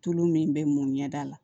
Tulu min bɛ mun ɲɛ da la